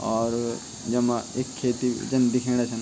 और यमा ऐक खेती जन दिखेणा छन।